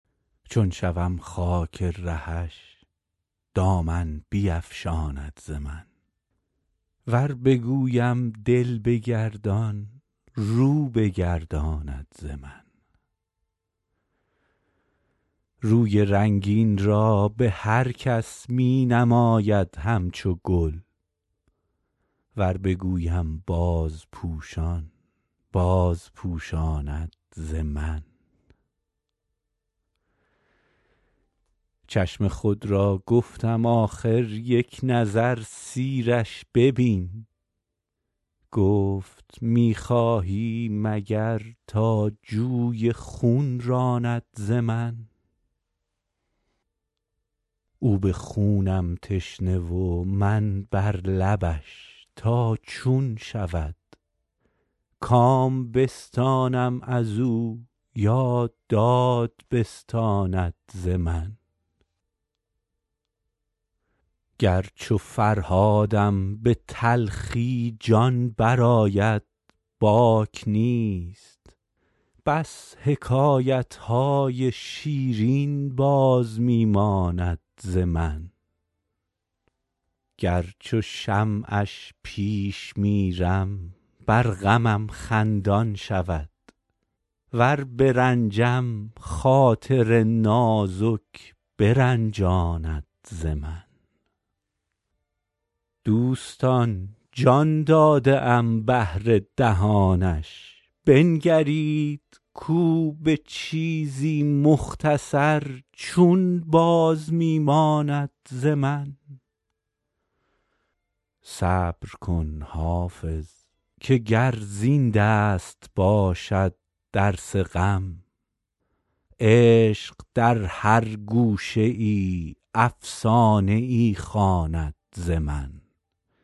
چون شوم خاک رهش دامن بیفشاند ز من ور بگویم دل بگردان رو بگرداند ز من روی رنگین را به هر کس می نماید همچو گل ور بگویم بازپوشان بازپوشاند ز من چشم خود را گفتم آخر یک نظر سیرش ببین گفت می خواهی مگر تا جوی خون راند ز من او به خونم تشنه و من بر لبش تا چون شود کام بستانم از او یا داد بستاند ز من گر چو فرهادم به تلخی جان برآید باک نیست بس حکایت های شیرین باز می ماند ز من گر چو شمعش پیش میرم بر غمم خندان شود ور برنجم خاطر نازک برنجاند ز من دوستان جان داده ام بهر دهانش بنگرید کو به چیزی مختصر چون باز می ماند ز من صبر کن حافظ که گر زین دست باشد درس غم عشق در هر گوشه ای افسانه ای خواند ز من